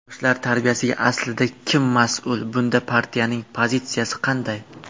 Yoshlar tarbiyasiga aslida kim mas’ul, bunda partiyaning pozitsiyasi qanday?